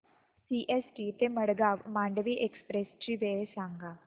CST ते Madgaon Mandovi express ची वेळ सांगा